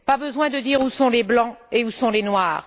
Pas besoin de dire où sont les blancs et où sont les noirs.